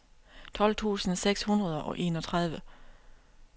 tolv tusind seks hundrede og enogtredive